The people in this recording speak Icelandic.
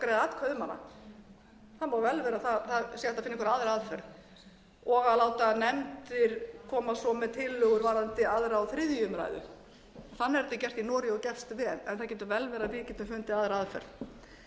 má vel vera að hægt sé að finna einhverja aðra aðferð og að láta nefndir koma svo með tillögur varðandi aðra og þriðju umræðu þannig er þetta gert í noregi og gert vel en það getur vel verið að við getum fundið aðra aðferð